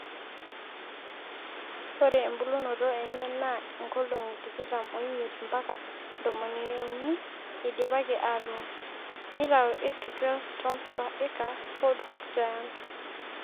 ore embulunoto enye naa nkolongi tikitam ooimiet mbaka tomoniuni eidipaki aatuun. neitau 8-12tons per acre ford hook giant